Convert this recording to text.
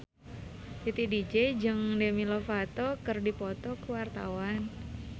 Titi DJ jeung Demi Lovato keur dipoto ku wartawan